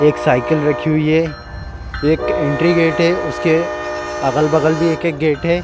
एक साइकिल रखी हुई है एक एंट्री गेट है उसके अगल-बगल भी एक-एक गेट है।